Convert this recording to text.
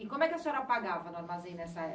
E como é que a senhora pagava no armazém nessa